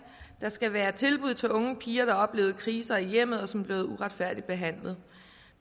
skal være tilbud til unge piger der har oplevet krise i hjemmet og som er blevet uretfærdigt behandlet